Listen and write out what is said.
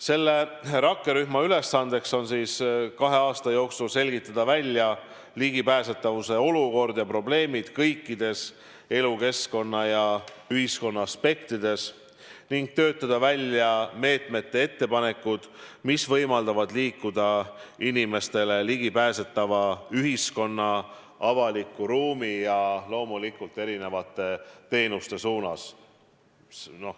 Selle rakkerühma ülesanne on kahe aasta jooksul selgitada välja ligipääsetavuse olukord ja probleemid kõikides elukeskkonna ja ühiskonna aspektides ning töötada välja meetmete ettepanekud, mis võimaldavad liikuda inimestele ligipääsetava ühiskonna, avaliku ruumi ja loomulikult erinevate teenuste suunas.